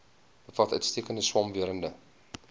bevat uitstekende swamwerende